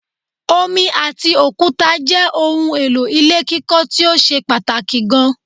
Omi ati òkúta jẹ́ ohun èlò ilé kíkọ́ tíó ṣe pàtàkì gan